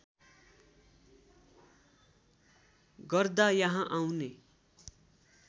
गर्दा यहाँ आउने